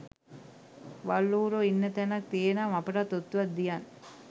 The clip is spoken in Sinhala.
වල් ඌරෝ ඉන්න තැනක් තියේනම් අපටත් ඔත්තුවක් දියන්